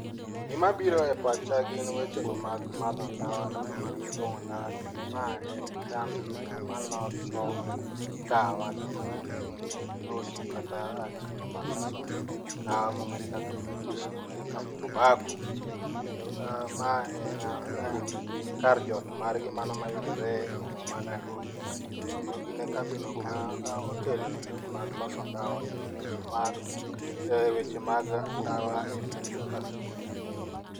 Gima biro epacha gin wechego mag madho ndawa kata mag fuong'o ndawa kendo ma en kambino ma loso ndawa kendo mochung' ne loso kata chenro mar loso ndawa mong'ere kaka British American Tobacco. kendo ma en kar jot margi mano mayudoree e boma ma Nairobi. Kendo gin e kambino ma otelo weche mag loso ndawa kendo loso mano e weche mag ndawa e pacho ka.